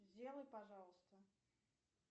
сделай пожалуйста